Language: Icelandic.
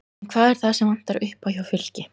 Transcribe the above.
En hvað er það sem vantar upp á hjá Fylki?